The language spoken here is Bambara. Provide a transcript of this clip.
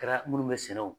Kɛra minnu bɛ sɛnɛ o